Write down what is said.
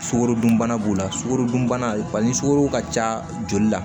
Sukarodunbana b'o la sukorodunbana ni sugoro ka ca joli la